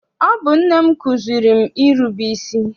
Ọ bụ nne m kụziere m irube isi.